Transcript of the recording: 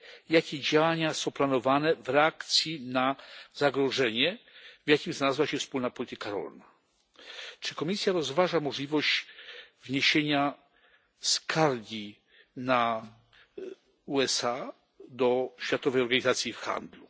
Jakie działania są planowane w reakcji na zagrożenie, w jakim znalazła się wspólna polityka rolna? Czy Komisja rozważa możliwość wniesienia skargi na USA do Światowej Organizacji Handlu?